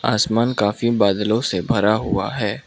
आसमान काफी बादलों से भरा हुआ है।